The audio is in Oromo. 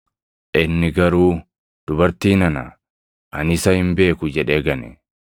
Inni garuu, “Dubartii nana, ani isa hin beeku” jedhee gane.